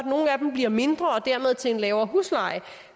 bliver mindre og dermed til en lavere husleje